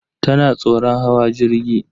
Tana tsoron hawa jirgi.